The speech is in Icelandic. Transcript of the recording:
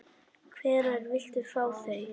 Hvenær viltu fá þau?